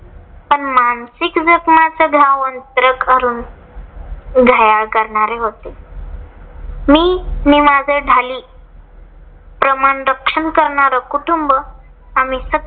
पण मासिक जखमाच घायाळ करणारे होते. मी माझं ढाली प्रमाण रक्षण करणार कुटुंब